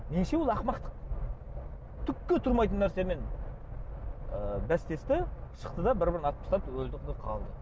меніңше ол ақымақтық түкке тұрмайтын нәрсемен ы бәстесті шықты да бір бірін атып тастады өлді де қалды